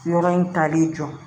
Yɔrɔ in tali jɔ